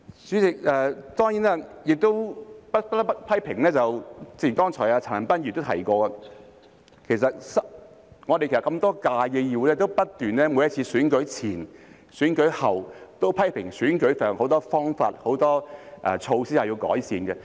代理主席，當然不得不批評的是，正如陳恒鑌議員剛才也提到，其實我們過去多屆議會，也不斷在每次選舉前後批評選舉時有很多方法和措施需要改善。